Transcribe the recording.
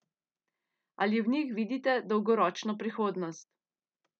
Ali v njih vidite dolgoročno prihodnost?